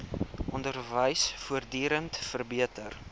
onderwys voortdurend verbeter